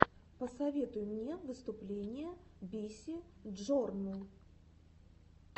посоветуй мне выступление биси джорнл